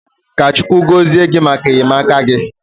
Ka Chukwu gozie gị maka enyemaka gị.